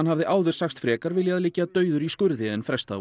hafði áður sagst frekar viljað liggja dauður í skurði en fresta